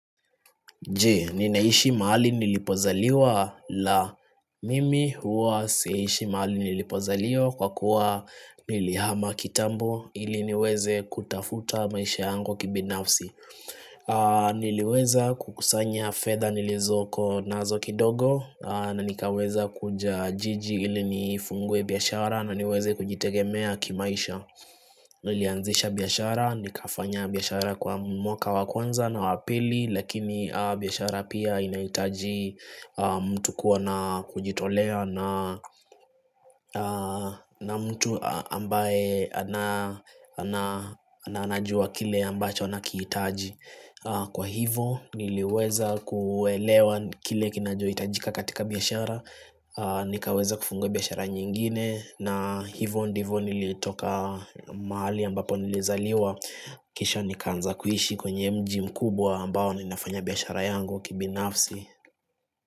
Je, ninaishi mahali nilipozaliwa la mimi huwa siishi mahali nilipozaliwa kwa kuwa nilihama kitambo ili niweze kutafuta maisha yangu kibinafsi. Niliweza kukusanya fedha nilizoko nazo kidogo na nikaweza kuja jiji ili nifungue biashara na niweze kujitegemea kimaisha. Nilianzisha biashara, nikafanya biashara kwa mwaka wa kwanza na wa pili Lakini biashara pia inahitaji mtu kuwa na kujitolea na mtu ambaye anajua kile ambacho anakihitaji Kwa hivo niliweza kuelewa kile kinachohitajika katika biashara nikaweza kufungua biaashara nyingine na hivyo ndivyo nilitoka mahali ambapo nilizaliwa Kisha nikaanza kuishi kwenye mji mkubwa ambao ninafanya biashara yangu kibinafsi.